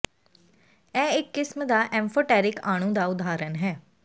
ਇਹ ਇਕ ਕਿਸਮ ਦਾ ਐਮਫੋਟੇਰੀਕ ਅਣੂ ਦਾ ਉਦਾਹਰਣ ਹੈ